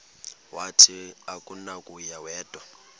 wathi akunakuya wedw